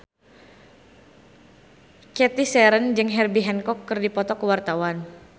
Cathy Sharon jeung Herbie Hancock keur dipoto ku wartawan